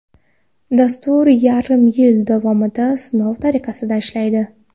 Dastur yarim yil davomida sinov tariqasida ishlaydi.